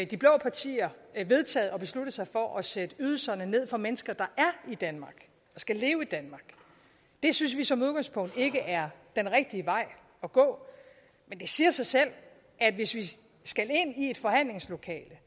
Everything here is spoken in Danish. de blå partier vedtaget og besluttet sig for at sætte ydelserne ned for mennesker der er i danmark og skal leve i danmark det synes vi som udgangspunkt ikke er den rigtige vej at gå men det siger sig selv at hvis vi skal ind i et forhandlingslokale